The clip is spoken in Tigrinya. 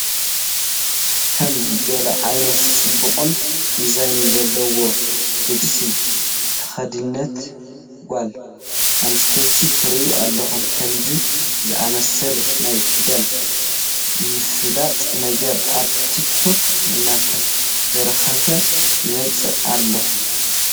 ከም ገለ ዓይነት ፅባቐን ዲዛይንን ዘለዎ ልብሲ ዝተኸደነት ጓል ኣነስተይቲ ትርአ ኣላ፡፡ ከምዚ ዝኣምሰለ ናይ ክዳን ምፍላጥ ነገር ኣብ ቲክ ቶክ እናተበራኸተ ይመፅእ ኣሎ፡፡